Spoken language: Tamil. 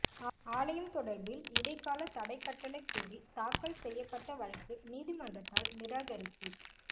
ஆலயம் தொடர்பில் இடைக்கால தடைக் கட்டளை கோரி தாக்கல் செய்யப்பட்ட வழக்கு நீதிமன்றத்தால் நிராகரிப்பு